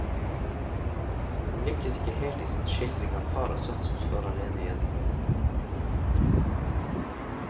Han lykkes ikke helt i sin skildring av far og sønn som står alene igjen.